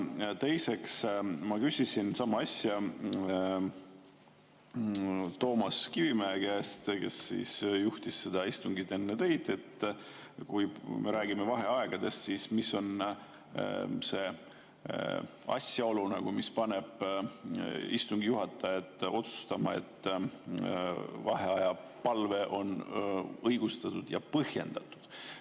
Teiseks, ma küsisin sama asja Toomas Kivimägi käest, kes juhtis seda istungit enne teid, et kui me räägime vaheaegadest, siis mis on see asjaolu, mis paneb istungi juhatajat otsustama, kas vaheaja palve on õigustatud ja põhjendatud.